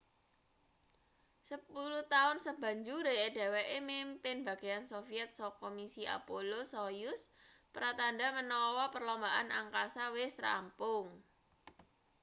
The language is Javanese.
sepuluh taun sabanjure dheweke mimpin bagean sovyet saka misi apollo-soyuz pratandha menawa perlombaan angkasa wis rampung